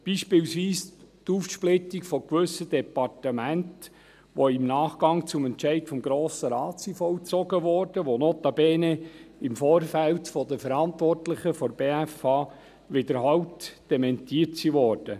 Beispielsweise die Aufsplittung gewisser Departemente, die im Nachgang zum Entscheid des Grossen Rates vollzogen wurde, aber notabene im Vorfeld von den Verantwortlichen der BFH wiederholt dementiert worden war.